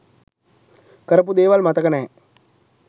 කරපු දේවල් මතක නෑ.